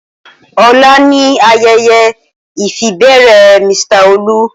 Ola ni ayeye ifibere Mr Olu.